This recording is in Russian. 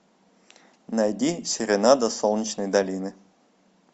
найди серенада солнечной долины